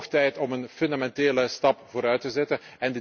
hebben. Het is hoog tijd om een fundamentele stap vooruit te